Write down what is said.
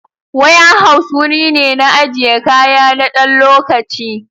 Ware house wurine na ajiye kaya nadan lokaci